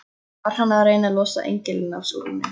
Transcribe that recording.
Hann var að reyna að losa engilinn af súlunni!